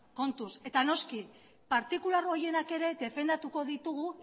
kontuz eta noski partikular horienak ere defendatuko ditugu